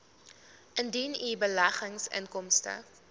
indien u beleggingsinkomste